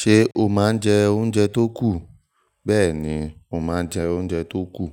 Ṣé o máa ń jẹ oúnjẹ tó kù? Bẹ́ẹ̀ni, mo máa ń jẹ oúnjẹ tó kù.